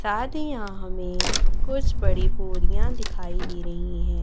साथि ही यहां हमें कुछ बड़ी बोरियां दिखाई दे रही है।